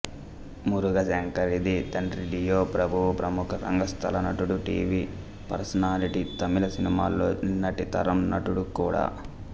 మురుగశంకరిది తండ్రి లియో ప్రభు ప్రముఖ రంగస్థల నటుడు టీవీ పర్సనాలిటీ తమిళ సినిమాల్లో నిన్నటి తరం నటుడు కూడా